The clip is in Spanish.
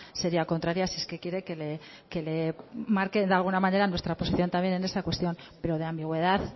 sería contraria si es que quiere que le marque de alguna manera nuestra oposición también en esa cuestión pero de ambigüedad